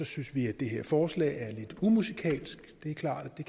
synes vi at det her forslag er lidt umusikalsk det er klart